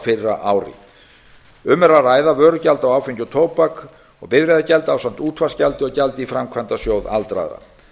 fyrra ári um er að ræða vörugjald á áfengi og tóbak og bifreiðagjald ásamt útvarpsgjaldi og gjaldi í framkvæmdasjóð aldraðra